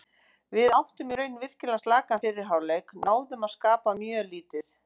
Við áttum í raun virkilega slakan fyrri hálfleik, náðum að skapa mjög lítið.